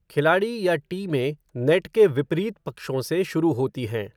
खिलाड़ी या टीमें नेट के विपरीत पक्षों से शुरू होती हैं।